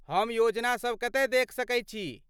हम योजनासभ कतय देखि सकैत छी?